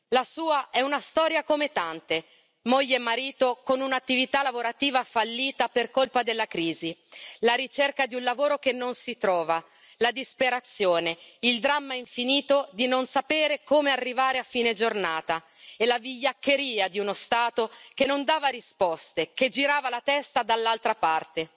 La sua è una storia come tante, moglie e marito con un'attività lavorativa fallita per colpa della crisi, la ricerca di un lavoro che non si trova, la disperazione, il dramma infinito di non sapere come arrivare a fine giornata e la vigliaccheria di uno Stato che non dava risposte, che girava la testa dall'altra parte,